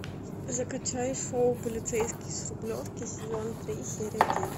закачай шоу полицейский с рублевки сезон три серия девять